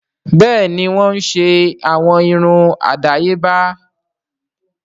Bẹ́ẹ̀ni wọ́n ń ṣe àwọn irun àdáyébá wa